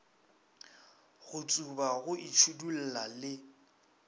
go tsuba go itšhidulla le